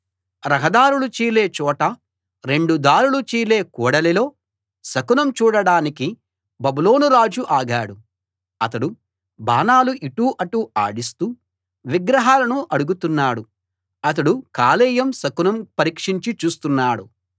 రహదారులు చీలే చోట రెండు దారులు చీలే కూడలిలో శకునం చూడడానికి బబులోను రాజు ఆగాడు అతడు బాణాలు ఇటు అటు ఆడిస్తూ విగ్రహాలను అడుగుతున్నాడు అతడు కాలేయం శకునం పరీక్షించి చూస్తున్నాడు